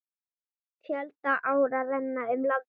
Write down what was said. Fjölda áa renna um landið.